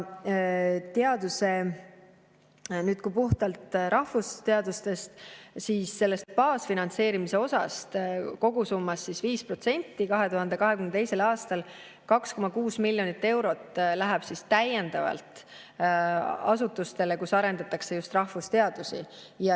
Kui rääkida puhtalt rahvusteadustest, siis sellest baasfinantseerimise kogusummast 5% ehk 2022. aastal 2,6 miljonit eurot läheb täiendavalt asutustele, kus arendatakse just rahvusteadusi.